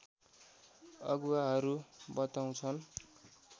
अगुवाहरू बताउँछन्